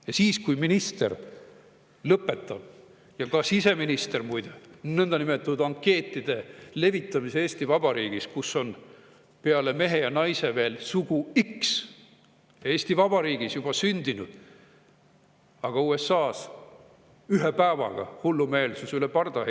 Ja minister Eesti Vabariigis lõpetama – ka siseminister, muide – nõndanimetatud ankeetide levitamise, kus on peale mehe ja naise veel sugu X. Eesti Vabariigis on see juba sündinud, aga USA-s heideti ühe päevaga see hullumeelsus üle parda.